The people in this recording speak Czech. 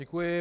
Děkuji.